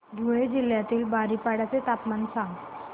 धुळे जिल्ह्यातील बारीपाडा चे तापमान सांग